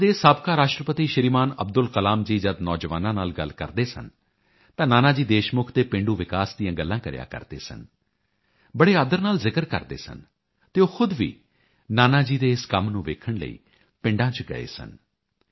ਭਾਰਤ ਦੇ ਸਾਬਕਾ ਰਾਸ਼ਟਰਪਤੀ ਸ਼੍ਰੀਮਾਨ ਅਬਦੁਲ ਕਲਾਮ ਜੀ ਜਦ ਨੌਜਵਾਨਾਂ ਨਾਲ ਗੱਲ ਕਰਦੇ ਸਨ ਤਾਂ ਨਾਨਾ ਜੀ ਦੇਸ਼ਮੁਖ ਦੇ ਪੇਂਡੂ ਵਿਕਾਸ ਦੀਆਂ ਗੱਲਾਂ ਕਰਿਆ ਕਰਦੇ ਸਨ ਬੜੇ ਆਦਰ ਨਾਲ ਜ਼ਿਕਰ ਕਰਦੇ ਸਨ ਅਤੇ ਉਹ ਖੁਦ ਵੀ ਨਾਨਾ ਜੀ ਦੇ ਇਸ ਕੰਮ ਨੂੰ ਵੇਖਣ ਲਈ ਪਿੰਡਾਂ ਚ ਗਏ ਸਨ